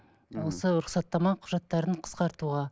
осы рұқсаттама құжаттарын қысқартуға